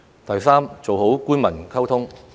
第三，做好官民溝通。